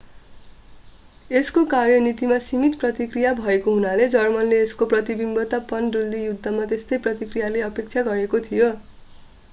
यसको कार्यनीतिमा सीमित प्रतिक्रिया भएको हुनाले जर्मनले यसको प्रतिबन्धित पनडुब्बी युद्धमा त्यस्तै प्रतिक्रियाको अपेक्षा गरेको थियो